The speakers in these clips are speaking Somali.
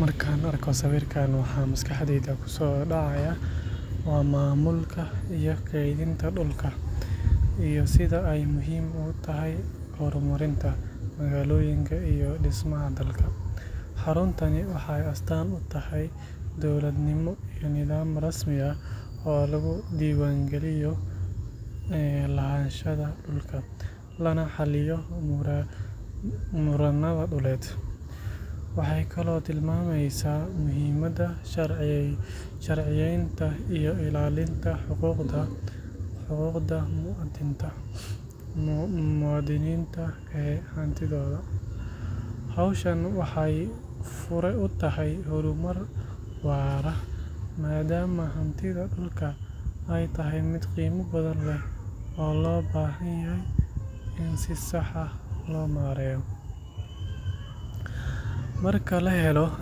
Markaan arko sawirkan, waxa maskaxdayda ku soo dhacaya waa maamulka iyo kaydinta dhulka, iyo sida ay muhiim ugu tahay horumarinta magaalooyinka iyo dhismaha dalka. Xaruntani waxay astaan u tahay dowladnimo iyo nidaam rasmi ah oo lagu diiwaangeliyo lahaanshaha dhulka, lana xalliyo murannada dhuleed. Waxay kaloo tilmaamaysaa muhiimadda sharciyeynta iyo ilaalinta xuquuqda muwaadiniinta ee hantidooda. Hawshan waxay fure u tahay horumar waara, maadaama hantida dhulka ay tahay mid qiimo badan leh oo loo baahan yahay in si sax ah loo maareeyo. Marka la helo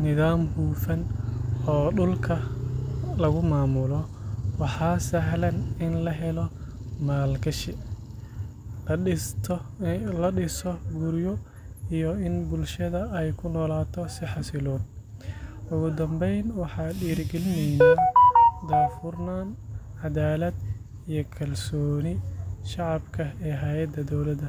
nidaam hufan oo dhulka lagu maamulo, waxaa sahlan in la helo maalgashi, la dhiso guryo, iyo in bulshada ay ku noolaato si xasiloon. Ugu dambeyn, waxay dhiirrigelinaysaa daahfurnaan, caddaalad, iyo kalsoonida shacabka ee hay’adaha dawladda.